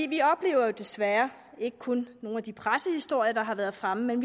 vi oplever jo desværre ikke kun nogle af de pressehistorier der har været fremme